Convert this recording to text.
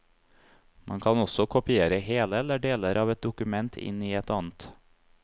Man kan også kopiere hele eller deler av et dokument inn i et annet.